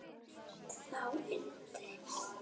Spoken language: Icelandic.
Þá innti